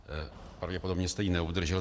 Pravděpodobně jste ji neobdržel.